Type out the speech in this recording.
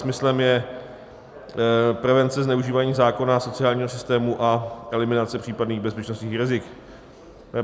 Smyslem je prevence zneužívání zákona a sociálního systému a eliminace případných bezpečnostních rizik.